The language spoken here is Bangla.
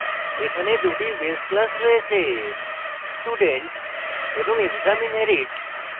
এখানে দুটি base classes রয়েছেstudent এবং exam আন্ডারস্কোর inherit